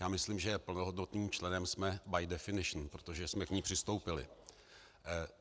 Já myslím, že plnohodnotným členem jsme by definition, protože jsme k ní přistoupili.